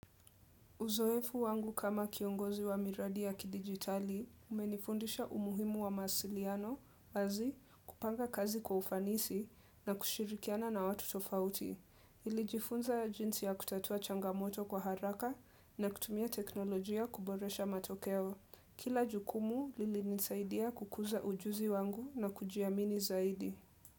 Uzoefu wangu kama kiongozi wa miradi ya kidigitali, umenifundisha umuhimu wa masiliano, wazi, kupanga kazi kwa ufanisi na kushirikiana na watu tofauti. Nilijifunza jinsi ya kutatua changamoto kwa haraka na kutumia teknolojia kuboresha matokeo. Kila jukumu lilinisaidia kukuza ujuzi wangu na kujiamini zaidi.